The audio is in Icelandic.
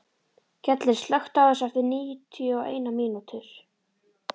Gellir, slökktu á þessu eftir níutíu og eina mínútur.